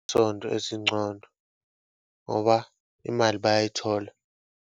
Ezingcono ngoba imali bayayithola.